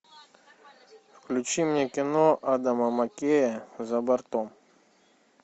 включи мне кино адама маккея за бортом